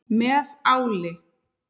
Báðum leikjum dagsins er nú lokið.